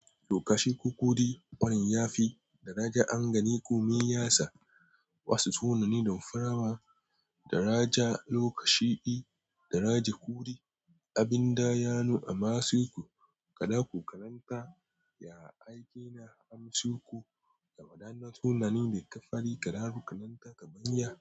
Lokaci, kurkudi, farin yafi, daraja, angane, komi, yatsa, wasu sunanin damfara ba, daraja, lokaci biyu, daraja, kuri'a, abin da ya nu, amatsiku, kada ku karanta, ya aiki na amatsiku, kada na sunanin da ta fari, kada ku karanta, ka ban ya.